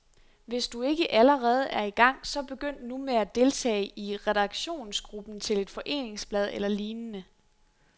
Hvis du ikke allerede er i gang, så begynd nu med at deltage i redaktionsgruppen til et foreningsblad eller lignende.